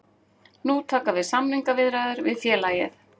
Nú taka við samningaviðræður við félagið